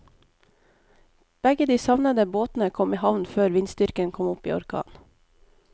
Begge de savnede båtene kom i havn før vindstyrken kom opp i orkan.